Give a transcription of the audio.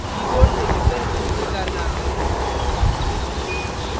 * keyboard से user input स्वीकारना